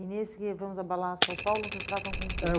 E nesse Vamos Abalar São Paulo, vocês tratam com o quê? É